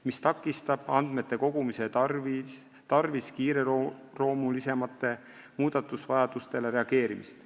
See takistab andmete kogumise tarvis kiireloomulisematele muudatusvajadustele reageerimist.